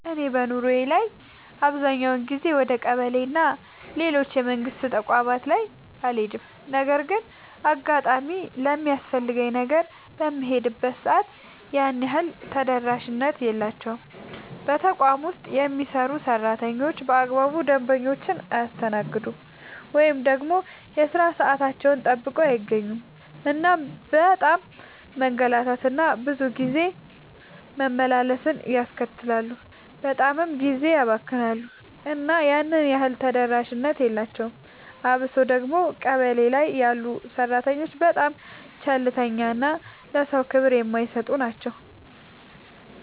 እኔ በኑሮዬ ላይ አብዛኛውን ጊዜ ወደ ቀበሌ እና ሌሎች የመንግስት ተቋማት ላይ አልሄድም ነገር ግን እንደ አጋጣሚ ለሚያስፈልገኝ ነገር በምሄድበት ሰዓት ያን ያህል ተደራሽነት የላቸውም። በተቋም ውስጥ የሚሰሩ ሰራተኞች በአግባቡ ደንበኞቻቸውን አያስተናግዱም። ወይ ደግሞ የሥራ ሰዓታቸውን ጠብቀው አይገኙም እናም በጣም መንገላታት እና ብዙ ጊዜ መመላለስን ያስከትላሉ በጣምም ጊዜ ያባክናሉ እና ያን ያህል ተደራሽነት የላቸውም። አብሶ ደግሞ ቀበሌ ላይ ያሉ ሰራተኞች በጣም ቸልተኛ እና ለሰዎች ክብር የማይሰጡ ናቸው።